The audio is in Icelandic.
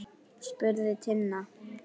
spurði Tinna.